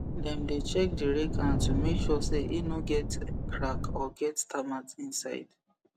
dem dey check the rake hand to make sure say e no get crack or get termite inside